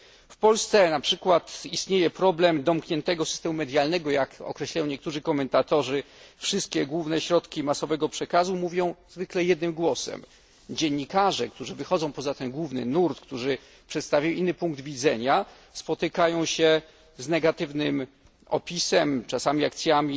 W Polsce istnieje problem domkniętego systemu medialnego, jak określają niektórzy komentatorzy. Wszystkie główne środki masowego przekazu mówią jednym głosem. Dziennikarze, którzy wychodzą poza ten główny nurt, którzy przedstawiają inny punkt widzenia, spotykają się z negatywnym opisem, czasami z akcjami